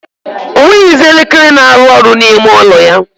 O nweghizi elekere na-arụ ọrụ n' ime ụlọ ya.